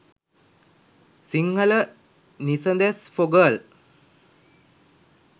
sinhala nisades for girl